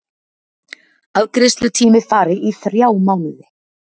Afgreiðslutími fari í þrjá mánuði